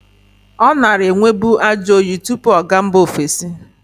Ọ nara enwebu ajọyị tụpụ ọ ga mba ovesi.